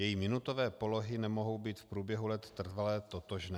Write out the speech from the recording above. Její minutové polohy nemohou být v průběhu let trvale totožné.